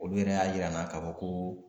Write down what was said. Olu yɛrɛ y'a yira n na k'a fɔ ko